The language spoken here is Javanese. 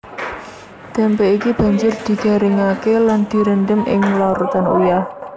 Témpé iki banjur digaringaké lan direndhem ing larutan uyah